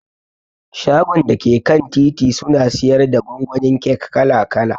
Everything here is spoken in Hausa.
Shagon dake kan titi suna siyarda gwangwanin kek kala kala.